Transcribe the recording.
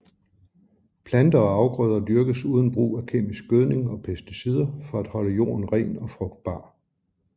Planter og afgrøder dyrkes uden brug af kemisk gødning og pesticider for at holde jorden ren og frugtbar